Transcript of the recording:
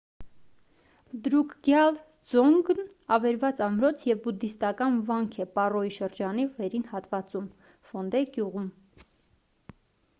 դրուկգյալ դզոնգն ավերված ամրոց և բուդդիստական վանք է պառոյի շրջանի վերին հատվածում ֆոնդեյ գյուղում: